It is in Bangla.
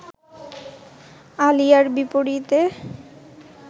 আলিয়ার বিপরীতে